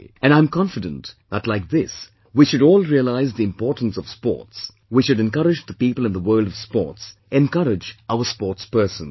And I am confident that like this, we should all realize the importance of sports, we should encourage the people in the world of sports, encourage our sportspersons